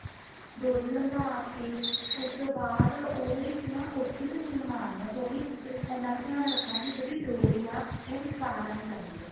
ਡੋਰੀ ਲੰਗਾ ਕੇ ਉਸ ਤੋਂ ਬਾਅਦ ਉਹਦੇ ਵਿੱਚ ਨਾ ਉੱਥੇ ਤੋਂ ਸੀਨ ਮਾਰਨੀ ਹੈ ਡੋਰੀ ਇੰਨਾ ਕ ਧਿਆਨ ਰੱਖਣਾ ਵੀ ਜਿਹੜੀ ਡੋਰੀ ਆ ਉਹ ਵਿਚਕਾਰ ਆਣੀ ਚਾਹੀਦੀ ਆ